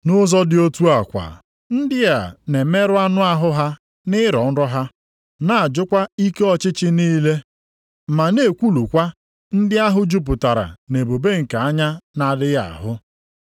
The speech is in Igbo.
Nʼụzọ dị otu a kwa, ndị a na-emerụ anụ ahụ ha nʼirọ nrọ ha, na-ajụkwa ike ọchịchị niile, ma na-ekwulukwa ndị ahụ jupụtara nʼebube nke anya na-adịghị ahụ.